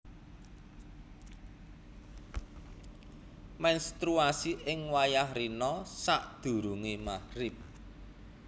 Mènstruasi ing wayah rina sadurungé Maghrib